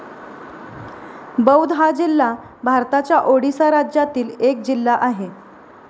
बौध हा जिल्हा भारताच्या ओडिसा राज्यातील एक जिल्हा आहे